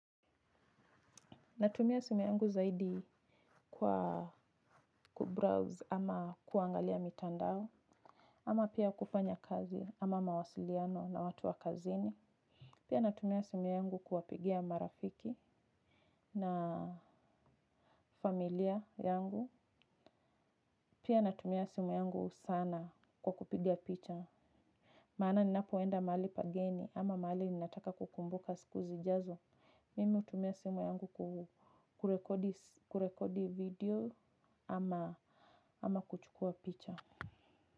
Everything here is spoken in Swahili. Natumia simu yangu zaidi kwa kubrowse ama kuangalia mitandao. Ama pia kufanya kazi ama mawasiliano na watu wa kazini pia natumia simu yangu kuwapigia marafiki na familia yangu. Pia natumia simu yangu sana kwa kupiga picha maana ninapoenda mahali pageni ama mahali ninataka kukumbuka siku zijazo mimi hutumia simu yangu kurekodi video ama kuchukua picture.